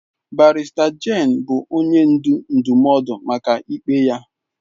Barrister Jane bụ onye ndu ndụmọdụ maka ikpe ya.